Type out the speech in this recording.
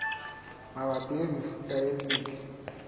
mabapi le mefuta e metle